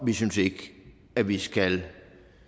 vi synes ikke at vi skal